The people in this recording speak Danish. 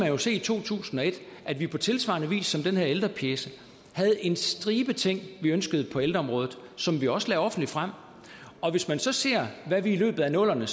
jo se i to tusind og et at vi på tilsvarende vis som den her ældrepjece havde en stribe ting vi ønskede på ældreområdet som vi også lagde offentligt frem og hvis man så ser hvad vi i løbet af nullerne